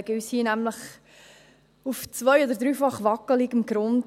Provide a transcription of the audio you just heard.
Wir bewegen uns hier nämlich auf zwei- oder dreifach wackligem Grund.